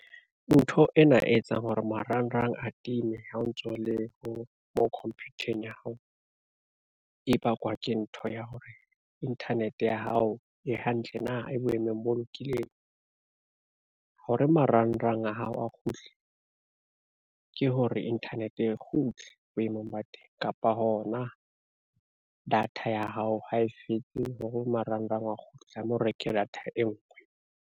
Ntho ena e etsang hore marangrang a time ha o ntso le ho mo computer-eng ya hao, e bakwa ke ntho ya hore internet ya hao e hantle na, e boemong bo lokileng. Ho re marangrang a hao a kgutle, ke hore internet e kgutle boemong ba teng kapa hona, data ya hao ha e fetse hore marangrang a kgutle tlame o reke data e ngwe.